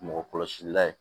Mɔgɔ kɔlɔsila ye